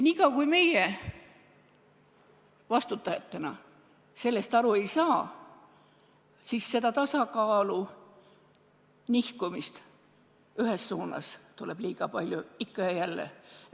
Niikaua kui meie vastutajatena sellest aru ei saa, tuleb tasakaalu nihkumist ühes suunas liiga palju, ikka ja jälle.